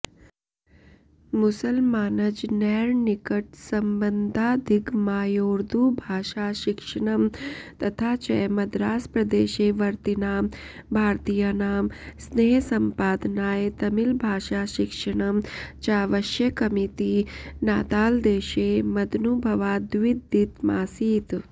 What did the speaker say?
मुसलमानजनैर्निकटसम्बन्धाधिगमायोर्दूभाषाशिक्षणं तथा च मद्रासप्रदेशवर्तिनां भारतीयानां स्नेहसंपादनाय तामिलभाषाशिक्षणं चावश्यकमिति नातालदेशे मदनुभवाद्विदितमासीत्